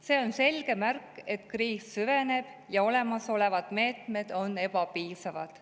See on selge märk, et kriis süveneb ja olemasolevad meetmed on ebapiisavad.